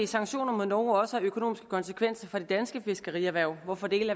sanktioner mod norge også have økonomiske konsekvenser for det danske fiskerierhverv hvorfor dele